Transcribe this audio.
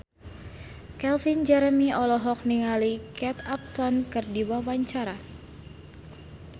Calvin Jeremy olohok ningali Kate Upton keur diwawancara